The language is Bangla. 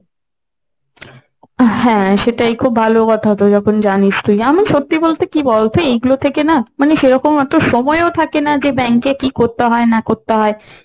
হ্যাঁ সেটাই খুব ভালো কথা তো যখন জানিস তুই। আমি সত্যি বলতে কি বলতো এই গুলো থেকে না মানে সেরকম অত সময় ও থাকে না যে bank এ কি করতে হয় না করতে হয়,